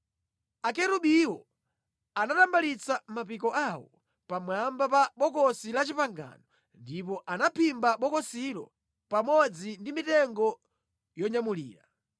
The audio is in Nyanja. Akerubiwo anatambalitsa mapiko awo pamwamba pa Bokosi la Chipangano ndipo anaphimba bokosilo pamodzi ndi mitengo yonyamulira.